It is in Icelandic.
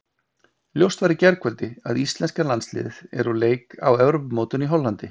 Ljóst var í gærkvöldi að íslenska landsliðið er úr leik á Evrópumótinu í Hollandi.